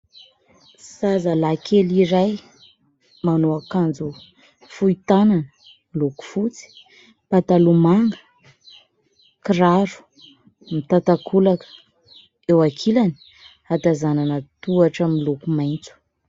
Zazalahy kely iray manao akanjo fohy tanana miloko fotsy, mipataloha manga, mikiraro mitan-takolaka. Eo ankilany ahatazanana tohatra miiloko maitso.